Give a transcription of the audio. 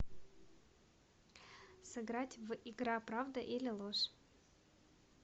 сыграть в игра правда или ложь